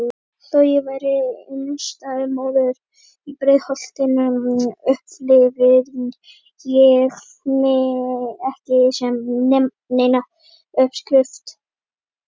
Þó ég væri einstæð móðir í Breiðholtinu upplifði ég mig ekki sem neina uppskrift.